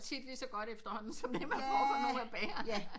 Tit efter hånden lige så godt som det man får ved bageren